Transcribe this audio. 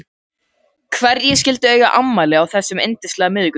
Hverjir skyldu eiga afmæli á þessum yndislega miðvikudegi?